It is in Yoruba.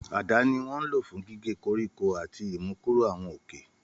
Àdá ni wón lo fun gige koriko ati imukuro awọn oke.